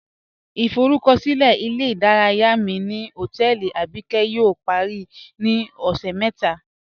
Ìforúkọ̀silẹ̀ ilẹ̀-ìdáràyà mi ni hotẹẹlì Abíkẹ̀ yóò parí ni ọṣẹ́ mẹta